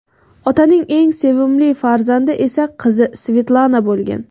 Otaning eng sevimli farzandi esa qizi Svetlana bo‘lgan.